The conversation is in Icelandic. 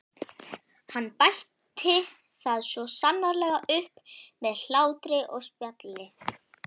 Hann bætti það svo sannarlega upp með hlátri og spjalli.